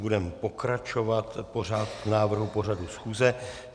Budeme pokračovat v návrhu pořadu schůze.